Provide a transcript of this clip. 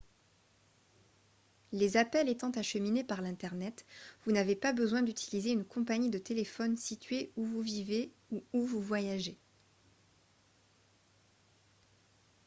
les appels étant acheminés par l'internet vous n'avez pas besoin d'utiliser une compagnie de téléphone située où vous vivez ou où vous voyagez